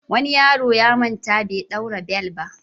Wani yaro ya manta bai ɗaura bel ba.